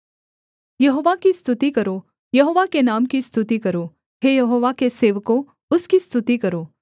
यहोवा की स्तुति करो यहोवा के नाम की स्तुति करो हे यहोवा के सेवकों उसकी स्तुति करो